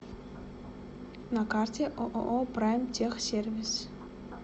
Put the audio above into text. на карте ооо прайм техсервис